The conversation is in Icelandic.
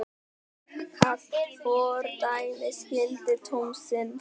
Takmarkað fordæmisgildi dómsins